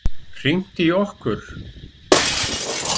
Hringt í okkur?